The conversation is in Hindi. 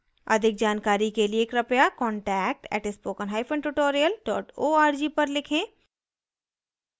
अधिक जानकारी के लिए कृपया contact @spokentutorial org पर लिखें